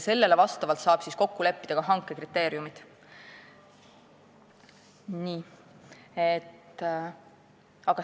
Sellele vastavalt saab kokku leppida ka hanke kriteeriumid.